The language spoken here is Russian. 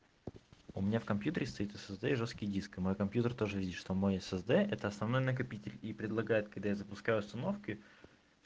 у меня в компьютере стоит ссд жёсткий диск на компьютер тоже видишь сама ссд это основной накопитель и предлагает когда запускаю установки